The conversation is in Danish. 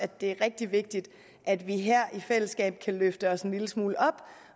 det er rigtig vigtigt at vi her i fællesskab kan løfte os en lille smule op